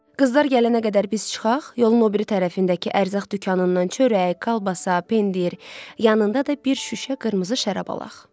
Qızlar gələnə qədər biz çıxaq, yolun o biri tərəfindəki ərzaq dükanından çörək, kolbasa, pendir, yanında da bir şüşə qırmızı şərab alaq.